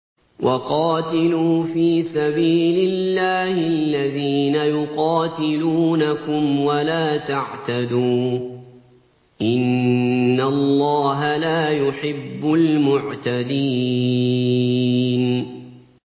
وَقَاتِلُوا فِي سَبِيلِ اللَّهِ الَّذِينَ يُقَاتِلُونَكُمْ وَلَا تَعْتَدُوا ۚ إِنَّ اللَّهَ لَا يُحِبُّ الْمُعْتَدِينَ